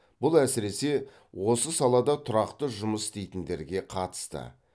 бұл әсіресе осы салада тұрақты жұмыс істейтіндерге қатысты